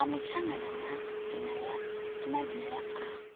wa mutshangana a dinalea a